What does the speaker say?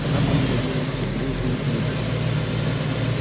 она подходила все ближе и ближе